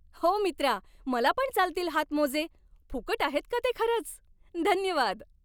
हो मित्रा, मला पण चालतील हातमोजे. फुकट आहेत का ते खरंच? धन्यवाद!